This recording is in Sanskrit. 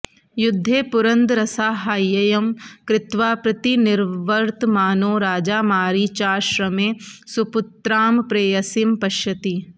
युद्धे पुरन्दरसाहाय्यं कृत्वा प्रतिनिवर्तमानो राजा मारीचाश्रमे सपुत्रां प्रेयसीं पश्यति